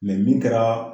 min kɛra